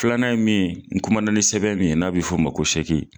Filanan ye min ye, n kumana ni sɛbɛn min n'a bɛ fɔ o ma ko